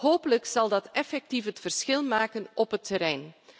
Hopelijk zal dat effectief het verschil maken op het terrein.